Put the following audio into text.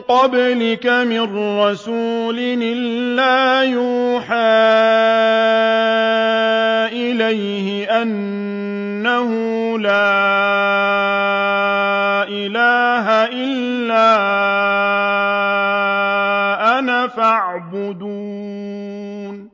قَبْلِكَ مِن رَّسُولٍ إِلَّا نُوحِي إِلَيْهِ أَنَّهُ لَا إِلَٰهَ إِلَّا أَنَا فَاعْبُدُونِ